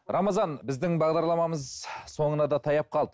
рамазан біздің бағдарламамыз соңына да таяп қалды